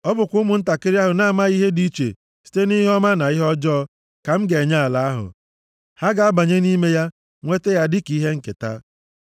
Ọ bụkwa ụmụntakịrị ahụ na-amaghị ihe dị iche site nʼihe ọma na ihe ọjọọ ka m ga-enye ala ahụ. Ha ga-abanye nʼime ya, nweta ya dịka ihe nketa.